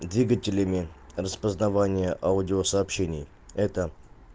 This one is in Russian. двигателями распознавание аудиосообщений это